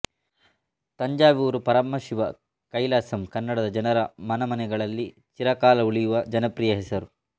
ತಂಜಾವೂರು ಪರಮಶಿವ ಕೈಲಾಸಂ ಕನ್ನಡದ ಜನರ ಮನ ಮನೆಗಳಲ್ಲಿ ಚಿರಕಾಲ ಉಳಿಯುವ ಜನಪ್ರಿಯ ಹೆಸರು